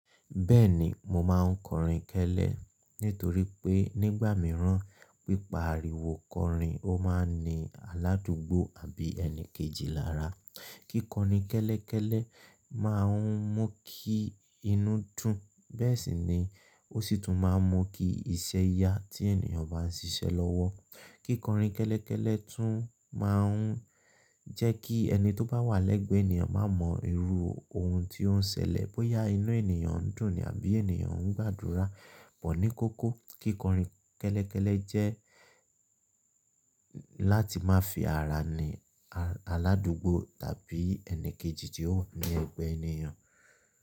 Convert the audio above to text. Bẹ́ẹ̀ni mo máa ń kọrin kẹ́lẹ́ nítorí pé nígbà mìíràn pípa ariwo kọrin ó máa ń ní aládùúgbò àbí ẹni kejì lára. Kí kọrin kẹ́lẹ́ kẹ́lẹ́ máa ń mú kí inú dùn. Bẹ́ẹ̀ sì ni ó sì tún máa ń mú kí iṣẹ́ yá tí ènìyàn bá ń ṣiṣẹ́ lọ́wọ́. Kí kọrin kẹ́lẹ́ kẹ́lẹ́ tún máa ń jẹ́ kí ẹni tó bá wà lẹ́gbẹ̀ẹ́ ènìyàn máa mọ irú ohun tí ó ń ṣẹlẹ̀, bóyá inú ènìyàn ń dùn ni àbí ènìyàn ń gbàdúrà. Bọ̀ ní kókó kí kọrin kẹ́lẹ́ kẹ́lẹ́ jẹ́ láti má fi ara ni aládùúgbò tàbí ẹni kejì tí ó wà ní ẹ̀gbẹ́ ènìyàn.